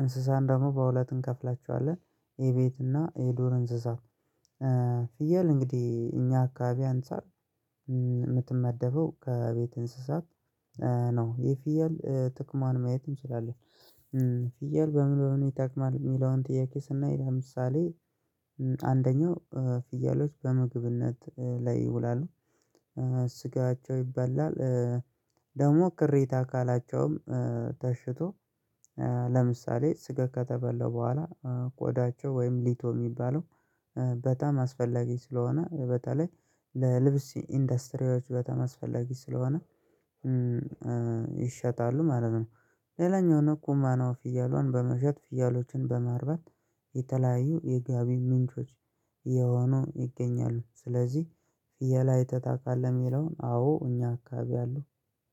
እንስሳን ደግሞ በሁለት እንከፍላቸዋለን፤ የቤት እና የዶር እንስሳ። ፍየል እንግዲህ እኛ አካባቢ አንፃር የምትመደበው ከቤት እንስሳት ነው። የፊየል ጥቅሟን ማየትም እንችላለን። "ፍየል በምን በምን ይጠቅማል?" የሚለውን ጥያቄ ስናይ ለምሳሌ አንደኛው ፍየሎች በምግብነት ላይ ይውላሉ። ስጋቸው ይባላል። ደግሞ ቅሪት አካላቸውም ተሽጦ ለምሳሌ ስጋ ከተበላ በኋላ ቆዳቸው ወይም ሊቶ የሚባለው በጣም አስፈላጊ ስለሆነ በተለይ ለልብስ ኢንደስትሪዎች በጣም አስፈላጊ ስለሆነ ይሸጣሉ ማለት ነው። ሌላኛው ንኩማ ነው ፍያሏን በመሸጥ ፍየሎችን በማርበት የተለያዩ የገቢ ምንጮች የሆኑ ይገኛሉ። ስለዚህ "ፍየል አይተህ ታውቃለህ?" የሚለው አዎ እኛ አካባቢ አሉ።